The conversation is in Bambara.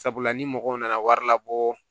Sabula ni mɔgɔw nana wari labɔ